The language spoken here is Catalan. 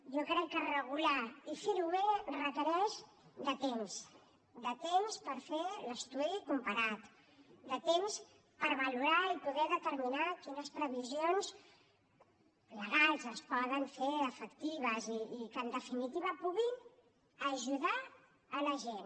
jo crec que regular i fer ho bé requereix temps temps per fer l’estudi comparat temps per valorar i poder determinar quines previsions legals es poden fer efectives i que en definitiva puguin ajudar la gent